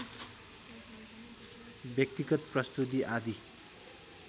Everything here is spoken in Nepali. व्यक्तिगत प्रस्तुति आदि